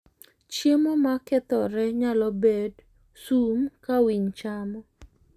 Chiemo mokethore nyalo bed sum ka winy chamo.